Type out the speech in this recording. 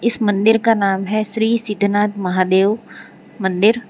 इस मंदिर का नाम है श्री सिद्धनाथ महादेव मंदिर --